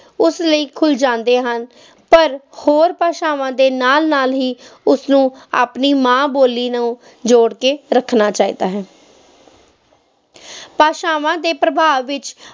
ਉਸ ਲਈ ਖੁੱਲ ਜਾਂਦੇ ਹਨ, ਪਰ ਹੋਰਾਂ ਭਾਸ਼ਾਵਾਂ ਦੇ ਨਾਲ ਨਾਲ ਹੀ ਉਸਨੂੰ ਆਪਣੀ ਮਾਂ ਬੋਲੀ ਨੂੰ ਜੋੜ ਕੇ ਰੱਖਣਾ ਚਾਹੀਦਾ ਹੈ ਭਾਸ਼ਾਵਾਂ ਦੇ ਪ੍ਰਭਾਵ ਵਿੱਚ